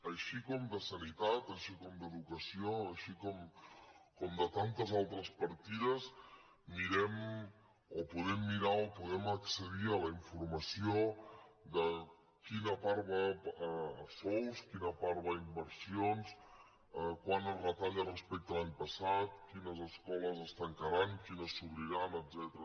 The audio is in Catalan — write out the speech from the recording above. així com de sanitat així com d’educació així com de tantes altres partides podem mirar o podem accedir a la informació de quina part va a sous quina part va a inversions quant es retalla respecte a l’any passat quines escoles es tancaran quines s’obriran etcètera